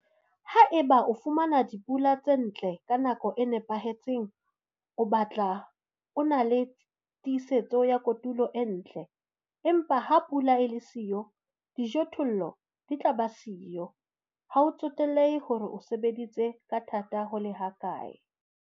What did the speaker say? Haeba o fumana dipula tse ntle ka nako e nepahetseng, o batla o na le tiisetso ya kotulo e ntle, empa ha pula e le siyo, dijothollo di tla ba siyo - ha ho tsotellehe hore o sebeditse ka thata ho le hakae.